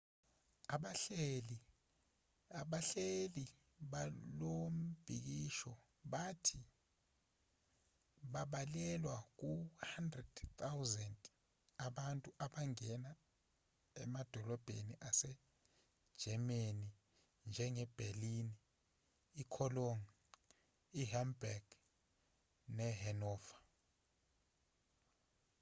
abahleli balombhikisho bathi babalelwa ku 100 000 abantu abangena emadolobheni ase-germanynjenge-berlin i-cologne i-hamburg ne-hanover